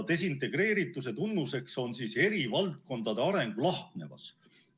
Desintegreerituse tunnus on eri valdkondade arengu lahknevus.